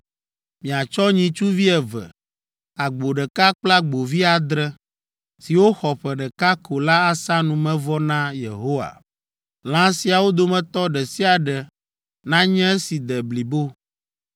Miatsɔ nyitsuvi eve, agbo ɖeka kple agbovi adre, siwo xɔ ƒe ɖeka ko la asa numevɔ na Yehowa. Lã siawo dometɔ ɖe sia ɖe nanye esi de blibo.